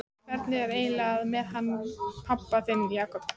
Hvernig er það eiginlega með hann pabba þinn, Jakob?